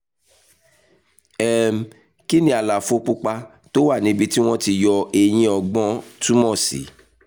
um kí ni àlàfo pupa tó wà níbi tí wọ́n ti yọ eyín ọgbọ́n túmọ̀ sí?